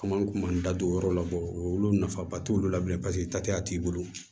Komi an kun b'an da don o yɔrɔ la bɔ olu nafaba t'olu la bilen paseke ta tɛya t'i bolo